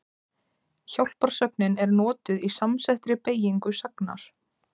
Hjálparsögnin er notuð í samsettri beygingu sagnar.